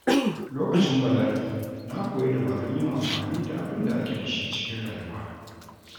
Lokacin bala’i, na koyi dabarun yin amfani da abin da ake da shi cikin rayuwa.